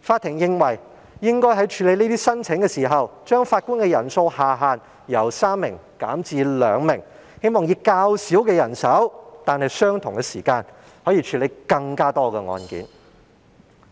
法庭認為應該在處理這些申請時，把法官人數下限由3名減至2名，希望以較少人手但以相同時間處理更多案件。